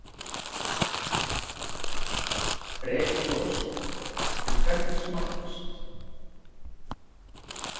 Breki Logason: En hvernig smakkast?